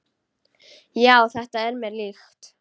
Já, þetta er mér líkt.